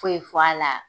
Foyi fɔ a la